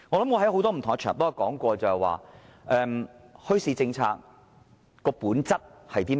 我在很多不同的場合也說過，墟市政策的本質是甚麼？